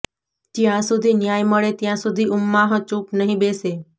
જ્યાં સુધી ન્યાય મળે ત્યાં સુધી ઉમ્માહ ચૂપ નહીં બેસે